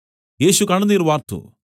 യേശു കണ്ണുനീർ വാർത്തു